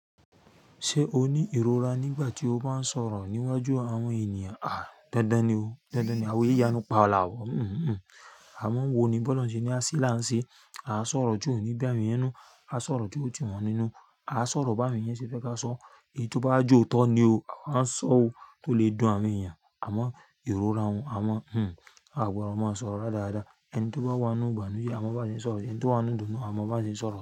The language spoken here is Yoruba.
Ṣé o ní ìrora nígbà tí o bá ń sọ̀rọ̀ níwájú àwọn ènìyàn? Àh, dandan ni o. Dandan ni. Àwa í y'anu palawu. Àmọ́ wo ni bọ́lọrun ṣe ní à ṣe là ń ṣe? A sọ̀rọ̀ tí o ni bí àwọn ènìyàn nínú. A sọ̀rọ̀ o túmọ̀ wọn nínú. A sọ̀rọ̀ báwọn èryàn ṣe fẹ́ ká sọ. Èyí tí ó bá wa jẹ òótọ́ ni o. Àwa i sọ o, tó lè dùn àwọn èèyàn, àmọ́ ìrora n, a gbọ́dọ̀ máa sọ̀rọ̀ radarada. Ẹni tí ó bá wá inú ìgbànú yìí, a mọ bí a ṣe ń sọ̀rọ̀. Ẹni tí ó wá nínú ìdùnnú, a mọ bí a ṣe ń sọ̀rọ̀